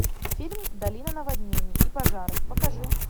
фильм долина наводнений и пожаров покажи